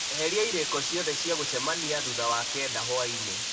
eheria irĩko ciothe cia gũcemania thutha wa kenda hwaĩ-inĩ